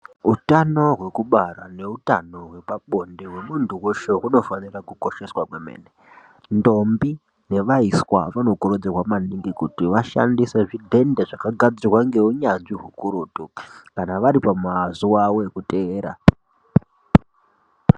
Utano hwekubara neutano hwepabonde hwemuntu weshe, hunofanira kukosheswa kwemene. Ndombi nevaiswa vanokurudzirwa maningi kuti vashandise zvidhende zvakagadzorwa ngeunyanzvi ukurutu kana vari panazuwa avo ekuteera.